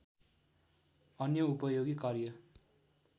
अन्य उपयोगी कार्य